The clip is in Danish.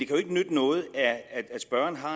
jo ikke nytte noget at spørgeren har